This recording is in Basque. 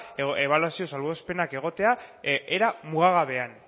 ebaluazio salbuespenak egotea era mugagabean